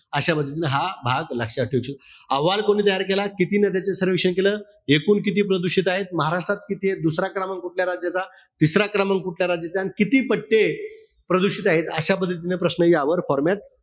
अशा पद्धतीनं हा भाग लक्षात ठेवा. हा अहवाल कोणी तयार केला? किती नद्यांचं सर्वेक्षण केलं? एकूण किती प्रदूषित आहे? महाराष्ट्रात किती आहे? दुसरा क्रमांक कुठल्या राज्याचा? तिसरा क्रमांक कुठल्या राज्याचा? अन किती पट्टे प्रदूषित आहेत, अशा पद्धतीचा प्रश्न यावर format,